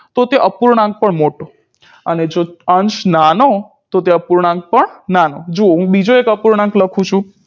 તો તે અપૂર્ણાંક પણ મોટો અને જો અંશ નાનો તો તે અપૂર્ણાંક પણ નાનો જો હું બીજો એક અપૂર્ણાંક લખું છું